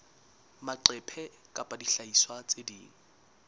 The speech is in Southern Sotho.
maqephe kapa dihlahiswa tse ding